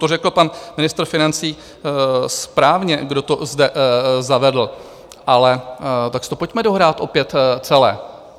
To řekl pan ministr financí správně, kdo to zde zavedl, ale tak si to pojďme dohrát opět celé.